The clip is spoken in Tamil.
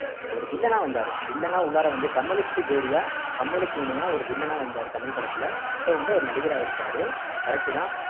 ஒரு villain ஆ வந்தாரு villain ஆ உள்ளார வந்து கமலுக்கு ஜோடியா கமலுக்கு இணையா ஒரு villain ஆ வந்தாரு கமல் படத்துல இப்போ வந்து அவரு நடிகரா அகிருக்காரு correct தான்